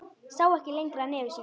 Sá ekki lengra nefi sínu.